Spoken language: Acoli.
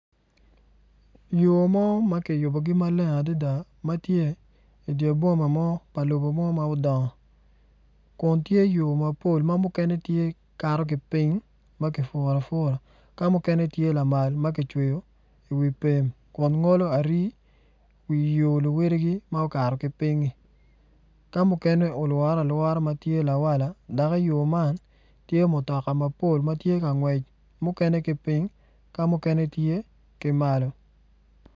Yo mo ma kiyubogi maleng adada ma tye idye boma mo pa lobo mo ma odongo kun tye yo mapol ma mukene kato ki piny ma kipuro apura ka mukene tye lamal ma kicweyo iwi pem kun ngolo ari wi yo luwotgi ma okato ki piny-nyi ka mukene olwore alwora ma tye lawala dok iyo man tye mutoka mapol ma tye ka ngwec mukene ki piny ka mukene tye ki malo.